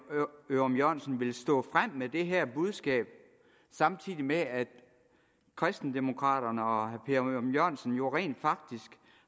ørum jørgensen vil stå frem med det her budskab samtidig med at kristendemokraterne og herre per ørum jørgensen jo rent faktisk